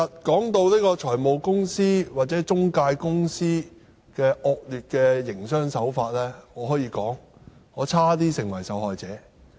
談到財務公司或中介公司的惡劣營商手法，我可以說我差點也成為受害者。